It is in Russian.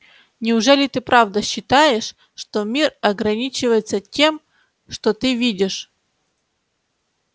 неужели ты правда считаешь что мир ограничивается тем что ты видишь